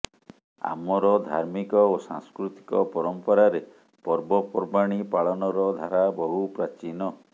ଆମର ଧାର୍ମିକ ଓ ସାଂସ୍କୃତିକ ପରମ୍ପରାରେ ପର୍ବପର୍ବାଣୀ ପାଳନର ଧାରା ବହୁ ପ୍ରାଚୀନ